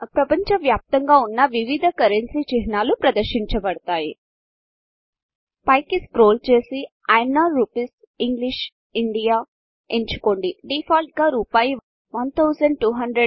ఈ ప్రపంచ వ్యాప్తంగా ఉన్న వివిధ కరెన్సీ చిహ్నాలు ప్రదర్శించబడతాయి పైకి స్క్రోల్ చేసి INR rupees English India INR rupees English India ఎంచుకోండి